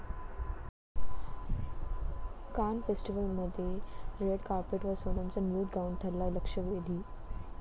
कान फेस्टिवलमध्ये रेड कार्पेटवर सोनमचा न्यूड गाऊन ठरला लक्षवेधी!